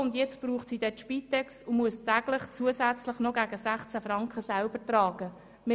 Und jetzt braucht sie bald die Spitex, sodass sie täglich zusätzlich gegen 16 Franken selber tragen muss.